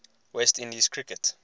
west indies cricket